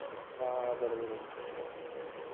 हां. बरोबर आहे.